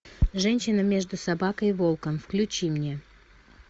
женщина между собакой и волком включи мне